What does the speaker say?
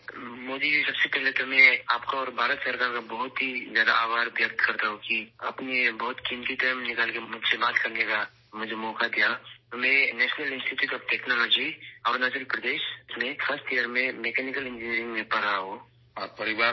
مودی جی، سب سے پہلے میں آپ کا اور حکومت ہند کا شکریہ ادا کرتا ہوں کہ آپ نے اپنا بہت قیمتی وقت نکالا اور مجھے بات کرنے کا موقع دیا، میں national institute of technology, Arunachal Pradesh میں مکینیکل انجینئرنگ کے پہلے سال میں پڑھ رہا ہوں